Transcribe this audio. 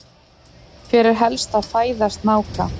Hver er helsta fæða snáka?